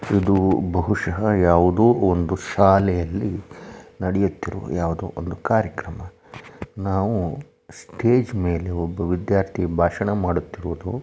ಇದು ಬಹುಶಹ ಯಾವುದೋ ಒಂದು ಶಾಲೆಯಲ್ಲಿ ನಡೆಯುತ್ತಿರುವ ಯಾವ್ದೊ ಒಂದು ಕಾರ್ಯಕ್ರಮ ನಾವು ಸ್ಟೇಜ್ ಮೇಲೆ ಒಬ್ಬ ವಿದ್ಯಾರ್ಥಿ ಭಾಷಣ ಮಾಡುತ್ತಿರುವುದು.